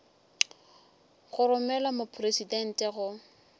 go romelwa go mopresidente go